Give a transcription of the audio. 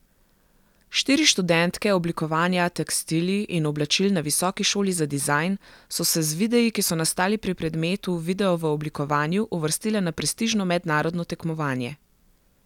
Štiri študentke oblikovanja tekstilij in oblačil na Visoki šoli za dizajn so se z videi, ki so nastali pri predmetu Video v oblikovanju, uvrstile na prestižno mednarodno tekmovanje.